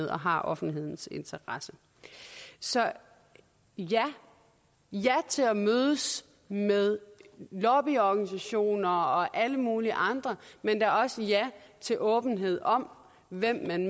og har offentlighedens interesse så ja ja til at mødes med lobbyorganisationer og alle mulige andre men der er også ja til åbenhed om hvem man